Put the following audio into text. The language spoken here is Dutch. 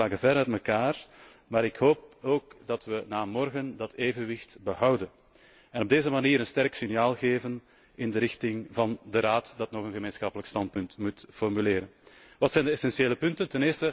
De standpunten lagen ver uit elkaar, maar ik hoop ook dat we na morgen dat evenwicht behouden en op deze manier een sterk signaal geven in de richting van de Raad, die nog een gemeenschappelijk standpunt moet formuleren. Wat zijn de essentiële punten?